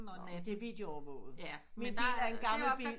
Det er videoovervåget men det er en gammel bil